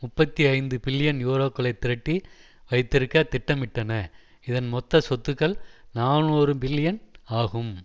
முப்பத்தி ஐந்து பில்லியன் யூரோக்களை திரட்டி வைத்திருக்க திட்டமிட்டன இதன் மொத்த சொத்துக்கள் நாநூறு பில்லியன் ஆகும்